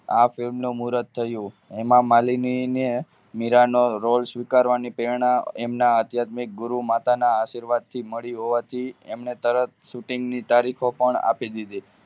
આ film નું મુરત થયું હેમામાલીની ને મીરાનો roll સ્વીકારવાની પ્રેરણા એમના આધ્યાત્મિક ગુરુમાતાના આશીર્વાદથી મળી હોવાથી એમને તરત shooting ની તારીખો પણ આપી દીધી.